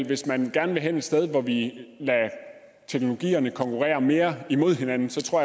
hvis man gerne vil hen et sted hvor vi lader teknologierne konkurrere mere imod hinanden